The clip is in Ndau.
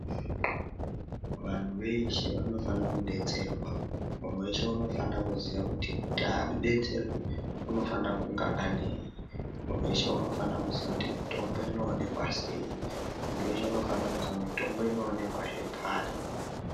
Vanhu veshe vanofana kudetserwa munhu weshe unofana kuziya kuti abetserwe unofana kuva anei muntu weshe unofana kuziya mitombo inowanikwa seyi muntu weshe unofanokuziya mitombo inoonekahe pari.